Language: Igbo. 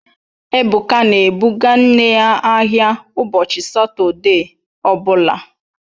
Ebuka na-ebụga nne ya ahịa ụbọchị Satọde ọ bụla